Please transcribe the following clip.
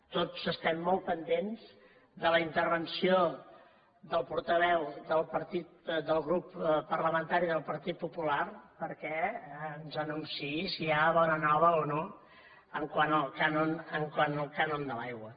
tots estem molt pendents de la intervenció del portaveu del grup parlamentari del partit popular perquè ens anunciï si hi ha bona nova o no quant al cànon de l’aigua